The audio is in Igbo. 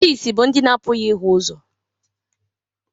Ndị ìsì bụ ndị na-apụghị ịhụ ụzọ.